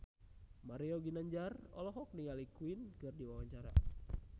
Mario Ginanjar olohok ningali Queen keur diwawancara